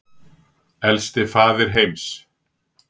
Elsti faðir heims